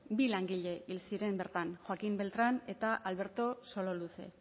bi langile hil ziren joaquin beltran eta alberto sololuze